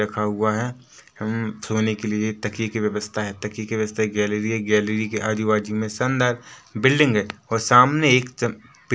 हम सोने के लिए एक तकिये की व्यवस्था है तकिये की व्यवस्था गैलरी है गैलरी के आजुबाजु में शानदार बिल्डिंग है ओर सामने एक चम् पेड़ दिखाई दे रहा हैं।